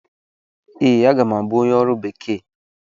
Ee, aga m abụ onye ọrụ bekee.